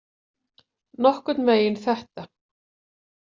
Nokkurn veginn þetta.